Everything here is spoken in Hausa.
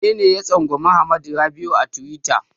Wanene ya tsangwami Hamad Rabi'u a tiwita?